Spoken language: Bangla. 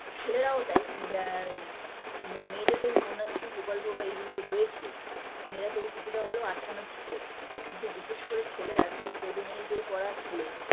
ছেলেরাও তাই ব আ মেয়েদের তো কন্যাশ্রী প্রকল্প বা এইগুলো রয়েছে মেয়েরা তবু কিছুটা হলেও আটকানো ছিল কিন্তু বিশেষ করে ছেলেরা class seven eight -এ পড়া ছেলে